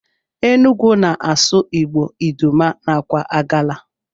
Enugu na asụ igbo, idoma nakwa agala.